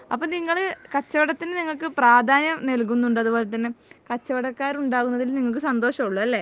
അപ്പൊ നിങ്ങൾ കച്ചവടത്തിന് നിങ്ങക്ക് പ്രാധ്യാനം നൽകുന്നുണ്ട് അതുപോലെ തന്നെ കച്ചവടക്കാർ ഉണ്ടാവുന്നതിൽ നിങ്ങൾക്ക് സന്തോഷം ഒള്ളു അല്ലെ